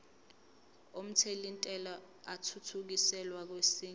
omthelintela athuthukiselwa kwesinye